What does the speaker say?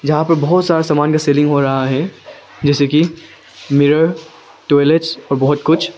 जहां पर बहुत सारे सामान का सेलिंग हो रहा है जैसे कि मिरर टॉयलेट्स और बहुत कुछ--